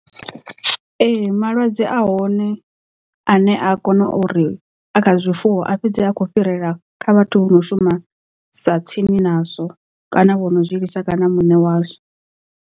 Ee malwadze a hone a ne a kona uri a kha zwifuwo a fhedze akho fhirela kha vhathu vho no shumesa tsini nazwo kana vho no zwiḽiwa kana muṋe wazwo.